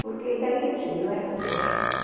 Porque daí, eu não sei, eu era muito caxias.